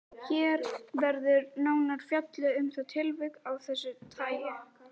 Hér verður nánar fjallað um það tilvik af þessu tagi.